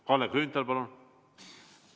Kalle Grünthal, palun!